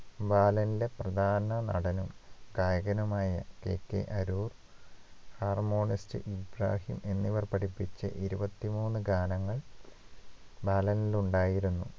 ബാലന്റെ പ്രധാന നടനും നായകനുമായ KK അരൂർ harmonist ഇബ്രാഹിം എന്നിവർ പഠിപ്പിച്ച ഇരുപത്തിമൂന്നു ഗാനങ്ങൾ ബാലനിൽ ഉണ്ടായിരുന്നു